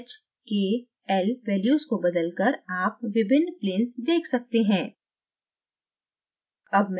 h k l values को बदलकर आप विभिन्न planes देख सकते हैं